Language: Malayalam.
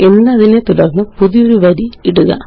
എന്നതിനെ തുടര്ന്ന് പുതിയൊരു വരി ഇടുക